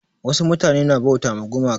Wasu mutane na bauta ma gumaka.